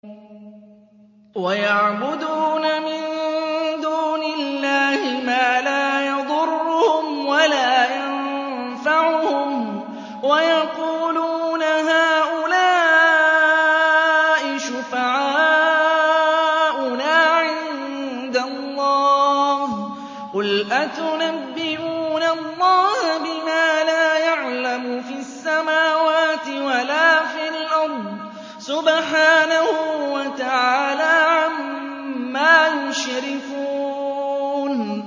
وَيَعْبُدُونَ مِن دُونِ اللَّهِ مَا لَا يَضُرُّهُمْ وَلَا يَنفَعُهُمْ وَيَقُولُونَ هَٰؤُلَاءِ شُفَعَاؤُنَا عِندَ اللَّهِ ۚ قُلْ أَتُنَبِّئُونَ اللَّهَ بِمَا لَا يَعْلَمُ فِي السَّمَاوَاتِ وَلَا فِي الْأَرْضِ ۚ سُبْحَانَهُ وَتَعَالَىٰ عَمَّا يُشْرِكُونَ